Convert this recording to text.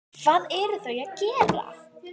Hvað eru þau að gera?